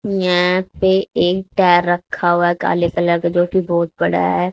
यहां पे ईटा रखा हुआ काले कलर का जो कि बहुत बड़ा है।